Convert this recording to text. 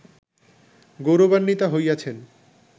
গৌরবান্বিতা হইয়াছেন